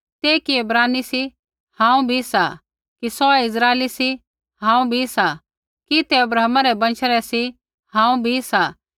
तै कि इब्रानी सी हांऊँ भी सा कि सौऐ इस्राइली सी हांऊँ भी सा कि तै अब्राहमा रै वंशा रै सी हांऊँ भी सा